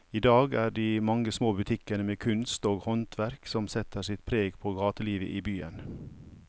I dag er det de mange små butikkene med kunst og håndverk som setter sitt preg på gatelivet i byen.